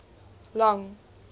long